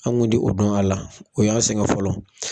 An' ŋun ti o dɔn a la o y'an sɛŋɛ fɔlɔ.